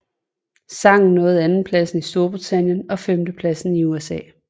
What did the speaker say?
Sangen nåede andenpladsen i Storbritannien og femtepladsen i USA